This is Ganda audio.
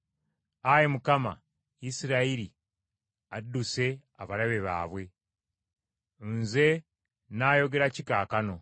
Ayi Mukama, sonyiwa omuddu wo. Isirayiri alumbiddwa abalabe baabwe, nze nnaayogera ki kaakano!